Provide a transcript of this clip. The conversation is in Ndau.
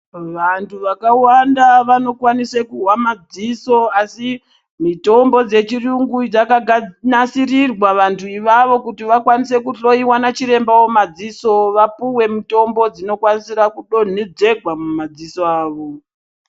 Vandu vakawanda vanokwanisa kuhwa madziso asi mitombo dzechiyungu dzaka nakiriswa vandu ivavo kuti vakwanise ku dhloyiwa nachiremba wama dziso vapuwe mitombo dzino kwanisirwa kudonhedzerwa muma dziso awo.